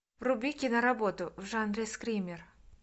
вруби кино работу в жанре скример